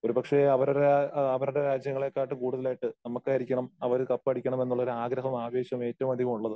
ഒരുപക്ഷെ അവരുടെ ആ അവരുടെ രാജ്യങ്ങളെക്കാട്ടും കൂടുതലായിട്ട് നമ്മക്കായിരിക്കണം അവര് കപ്പ് അടിക്കണം എന്നുള്ള ഒരു ആഗ്രഹവും ആവേശവും ഏറ്റവും അധികം ഉള്ളത്.